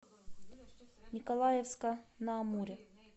николаевска на амуре